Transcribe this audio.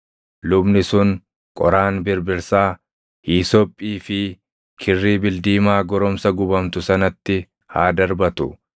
Lubni sun qoraan birbirsaa, hiisophii fi kirrii bildiimaa goromsa gubamtu sanatti haa darbatu.